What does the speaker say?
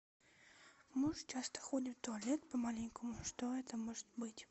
муж часто ходит в туалет по маленькому что это может быть